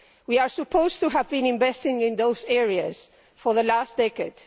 We are supposed to have been investing in those areas for the last decade.